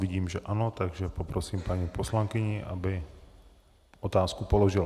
Vidím, že ano, takže poprosím paní poslankyni, aby otázku položila.